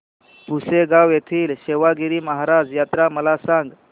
पुसेगांव येथील सेवागीरी महाराज यात्रा मला सांग